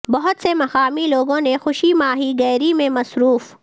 بہت سے مقامی لوگوں نے خوشی ماہی گیری میں مصروف